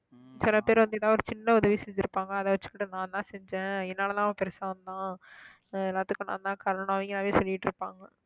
சில பேர் வந்து ஏதாவது ஒரு சின்ன உதவி செஞ்சிருப்பாங்க அதை வச்சுக்கிட்டு நான்தான் செஞ்சேன் என்னாலதான் அவன் பெருசா வந்தான் எல்லாத்துக்கும் நான்தான் காரணம் சொல்லிட்டிருப்பாங்க